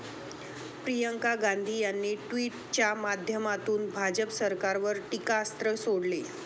प्रियंका गांधी यांनी ट्विटच्या माध्यमातून भाजप सरकारवर टीकास्त्र सोडले.